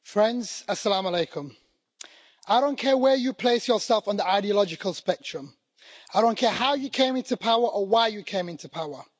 Mr President, friends, I don't care where you place yourself on the ideological spectrum. I don't care how you came into power or why you came into power.